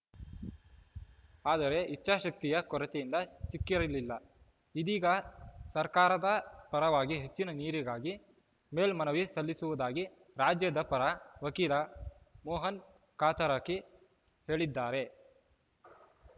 ಆದರೆ ಇಚ್ಛಾಶಕ್ತಿಯ ಕೊರತೆಯಿಂದ ಸಿಕ್ಕಿರಲಿಲ್ಲ ಇದೀಗ ಸರ್ಕಾರದ ಪರವಾಗಿ ಹೆಚ್ಚಿನ ನೀರಿಗಾಗಿ ಮೇಲ್ಮನವಿ ಸಲ್ಲಿಸುವುದಾಗಿ ರಾಜ್ಯದ ಪರ ವಕೀಲ ಮೋಹನ್‌ ಕಾತರಕಿ ಹೇಳಿದ್ದಾರೆ